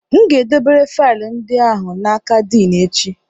M ga-edobere faịlụ ndị ahụ n'aka Din echi